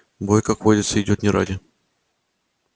бой как водится идёт не ради